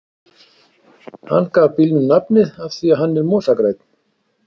Hann gaf bílnum nafnið af því að hann er mosagrænn.